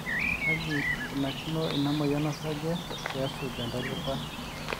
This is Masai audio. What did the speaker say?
kaji ikunakino ina moyian osarge pe esuj entalipa